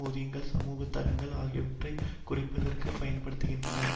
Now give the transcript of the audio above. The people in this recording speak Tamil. ஊதியங்கள் சமூக தரங்கள் ஆகியவற்றை குறைப்பதற்கு பயன்படுத்த படுகின்றன